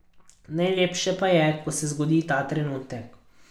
Najlepše pa je, ko se zgodi ta trenutek.